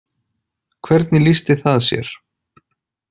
Hvernig lýsti það sér?